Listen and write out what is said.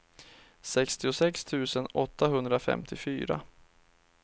sextiosex tusen åttahundrafemtiofyra